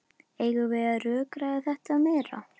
Eigum við að rökræða þetta meira?